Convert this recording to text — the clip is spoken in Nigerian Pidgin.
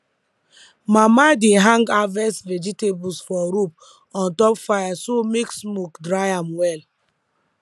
mama dey hang harvest vegetables for rope on top fire so make smoke dry am well